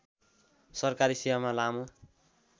सरकारी सेवामा लामो